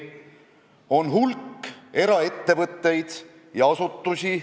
Samas on tore, et sa, hea Viktor, viitasid keele vägistamisele, keele risustamisele.